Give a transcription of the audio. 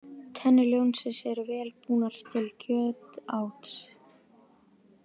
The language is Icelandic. Tennur ljónsins eru vel búnar til kjötáts.